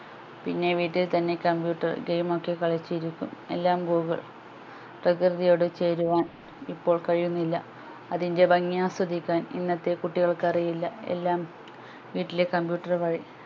പിന്നെ വീട്ടിൽ തന്നെ computer game ഒക്കെ കളിച്ചു ഇരിക്കും എല്ലാം google പ്രകൃതിയോട് ചേരുവാൻ ഇപ്പോൾ കഴിയുന്നില്ല അതിൻ്റെ ഭംഗി ആസ്വദിക്കാൻ ഇന്നത്തെ കുട്ടികൾക്ക് അറിയില്ല എല്ലാം വീട്ടിലെ computer വഴി